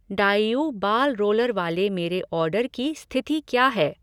डाईऊ ball roller वाले मेरे order की स्थिति क्या है?